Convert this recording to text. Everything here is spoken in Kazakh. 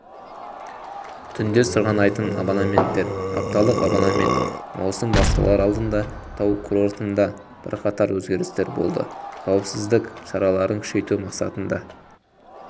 түндесырғанайтын абонементтер апталық абонемент маусым басталар алдында тау курортында бірқатар өзгерістер болды қауіпсіздік шараларын күшейту мақсатында